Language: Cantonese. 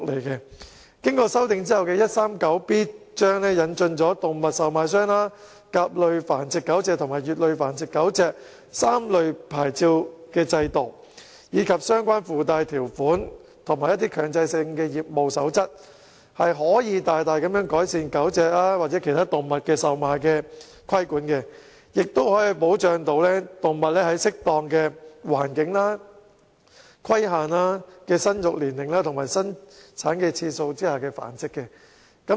經修訂後的第 139B 章，引進了動物售賣商牌照、甲類繁育狗隻牌照和乙類繁育狗隻牌照的制度，以及訂定相關附帶條款及強制性業務守則，可以大大改善對售賣狗隻或其他動物的規管，也可保障動物在適當環境和有規限的生育年齡及生產次數下繁殖。